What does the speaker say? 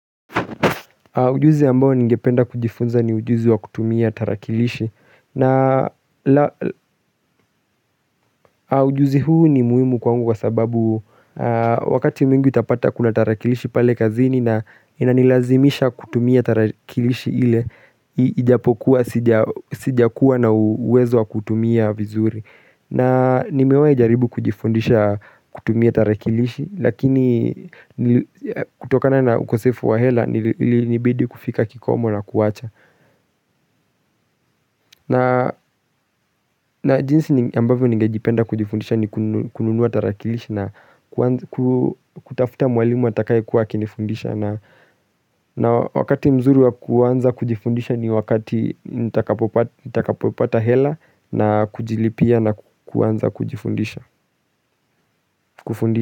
Ujuzi ambao ningependa kujifunza ni ujuzi wa kutumia tarakilishi na ujuzi huu ni muhimu kwangu kwa sababu wakati mwingi utapata kuna tarakilishi pale kazini na inanilazimisha kutumia tarakilishi ile ijapokuwa sijakuwa na uwezo wa kuutumia vizuri. Na nimewahi jaribu kujifundisha kutumia tarakilishi lakini kutokana na ukosefu wa hela ilinibidi kufika kikomo na kuwacha. Na jinsi ambavyo ningejipenda kujifundisha ni kununua tarakilishi na kutafuta mwalimu atakayekuwa akinifundisha. Na wakati mzuri wa kuanza kujifundisha ni wakati nitakapopata hela na kujilipia na kuanza kujifundisha.